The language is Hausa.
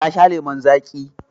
Ta sha lemon zaƙi.